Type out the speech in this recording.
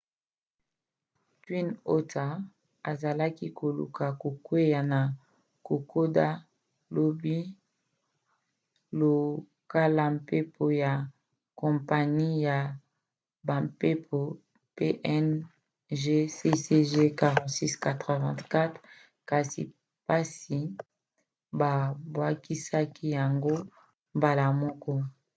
twin otter azalaki koluka kokwea na kokoda lobi lokola mpepo ya kompani ya bampepo png cg4684 kasi basi babwakisaki yango mbala moko